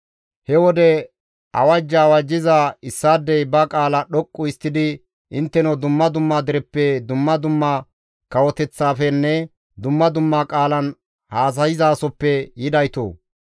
He wode awajja awajjiza issaadey ba qaala dhoqqu histtidi, «Intteno dumma dumma dereppe, dumma dumma kawoteththafenne dumma dumma qaalan haasayzaasoppe yidaytoo!